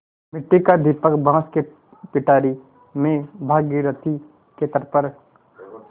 मिट्टी का दीपक बाँस की पिटारी में भागीरथी के तट पर